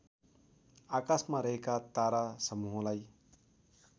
आकाशमा रहेका तारासमूहलाई